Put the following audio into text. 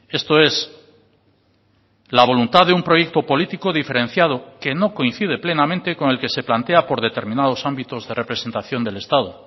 esto es la voluntad de un proyecto político diferenciado que no coincide plenamente con el que se plantea por determinados ámbitos de representación del estado